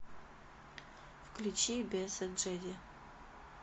включи бесы джеди